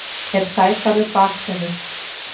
er sægarður baktaumur